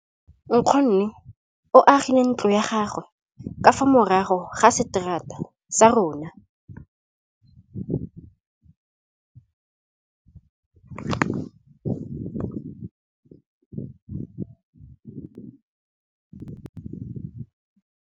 Nkgonne o agile ntlo ya gagwe ka fa morago ga seterata sa rona.